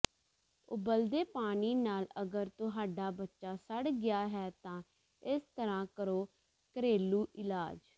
ਉਬਲਦੇ ਪਾਣੀ ਨਾਲ ਅਗਰ ਤੁਹਾਡਾ ਬੱਚਾ ਸੜ ਗਿਆ ਹੈ ਤਾਂ ਇਸ ਤਰ੍ਹਾਂ ਕਰੋ ਘਰੇਲੂ ਇਲਾਜ